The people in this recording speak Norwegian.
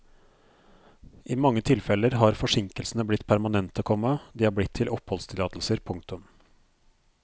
I mange tilfeller har forsinkelsene blitt permanente, komma de er blitt til oppholdstillatelser. punktum